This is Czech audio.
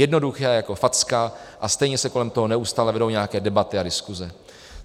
Jednoduché jako facka, a stejně se kolem toho neustále vedou nějaké debaty a diskuse.